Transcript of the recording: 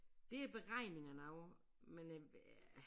Det er beregningerne af men øh ja